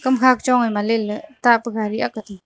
hamkha ga chong aima leley tapa gari akha tan.